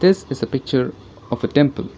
this is a picture of a temple.